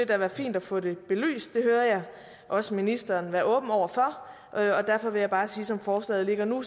da være fint at få det belyst det hører jeg også ministeren være åben over for og derfor vil jeg bare sige at som forslaget ligger nu